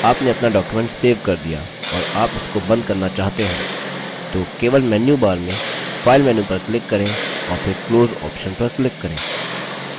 आपने आपना document save कर दिया और आप इसको बंद करना चाहते हैं तो केवल menu bar में file menu पर click करें और फिर close option पर click करें